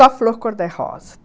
Só flor cor-de-rosa.